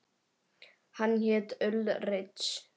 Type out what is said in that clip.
Hann hét Ulrich.